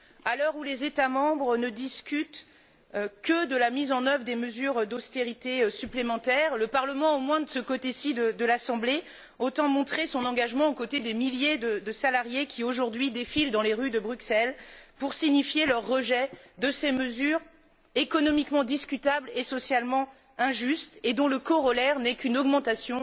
À l'heure où les États membres ne discutent que de la mise en œuvre de mesures d'austérité supplémentaires, le Parlement, au moins de ce côté ci de l'Assemblée, entend montrer son engagement aux côtés des milliers de salariés qui, aujourd'hui, défilent dans les rues de Bruxelles pour signifier leur rejet de ces mesures économiquement discutables et socialement injustes, et dont le corollaire n'est qu'une augmentation